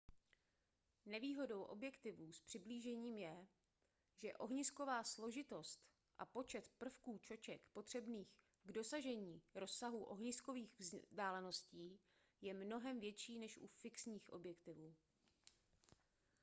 nevýhodou objektivů s přiblížením je že ohnisková složitost a počet prvků čoček potřebných k dosažení rozsahu ohniskových vzdáleností je mnohem větší než u fixních objektivů